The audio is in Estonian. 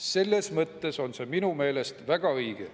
Selles mõttes on see minu arust väga õige.